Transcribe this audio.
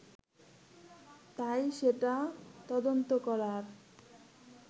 তাই সেটা তদন্ত করার